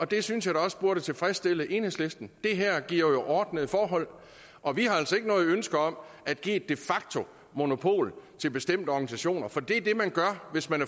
det synes jeg da også burde tilfredsstille enhedslisten det her giver jo ordnede forhold og vi har altså ikke noget ønske om at give et de facto monopol til bestemte organisationer for det er det man gør hvis man